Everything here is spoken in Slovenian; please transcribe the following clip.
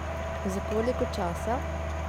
Za koliko časa?